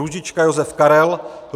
Růžička Josef Karel